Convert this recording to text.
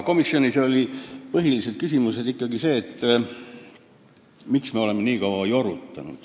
Komisjonis oli aga põhiline küsimus ikkagi see, miks me oleme asjaga nii kaua jorutanud.